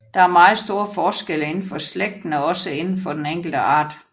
Der er meget store forskelle indenfor slægten og også indenfor den enkelte art